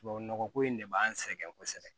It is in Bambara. Tubabu nɔgɔ ko in de b'an sɛgɛn kosɛbɛ